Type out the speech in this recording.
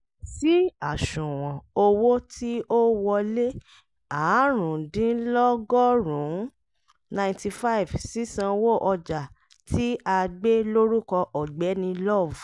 sí àṣùwọ̀n owó tí ò wọlé áàrúndínlọ́gọ́rùn-ún( ninety five ) (sísanwó ọjà tí a gbé lórúkọ ọ̀gbẹ́ni love)